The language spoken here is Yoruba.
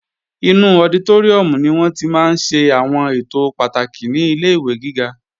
Inú ọditóríùm ni wọ́n tí máa ń ṣe àwọn ètò pàtàkì nílé ìwé gíga